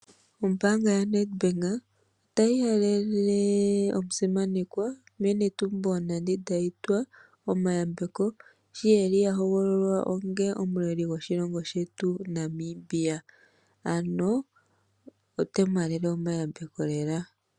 Ombaanga yaNEDBANK otayi halele omusimanekwa mee Netumbo Nandi Ndaitwah omayambeko sho eli ahoholowa onga omuleli gwoshilongo shetu Namibia ano otaye mu haalele omayambeko lela.